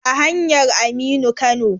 A hanyar Aminu Kano.